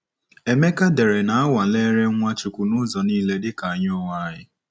Emeka dere na a nwalere Nwachukwu nụzọ niile dịka anyị onwe anyị.